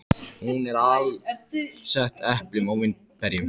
Hún er alsett eplum og vínberjum.